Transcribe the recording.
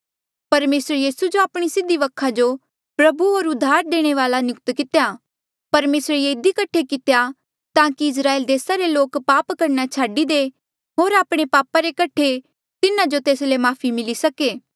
परमेसरे यीसू जो आपणे सीधी वखा जो प्रभु होर उद्धार देणे वाल्आ नियुक्त कितेया परमेसरे ये इधी कठे कितेया ताकि इस्राएल देसा रे लोक पाप करणा छाडी दे होर आपणे पापा रे कठे तिन्हा जो तेस ले माफ़ी मिली सके